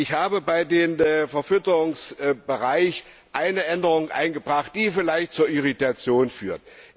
Ich habe im Verfütterungsbereich eine Änderung eingebracht, die vielleicht zu Irritationen führt.